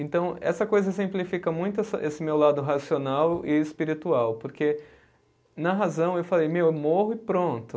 Então, essa coisa simplifica muito essa, esse meu lado racional e espiritual, porque na razão eu falei, meu, eu morro e pronto.